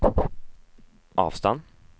avstand